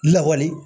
Lawale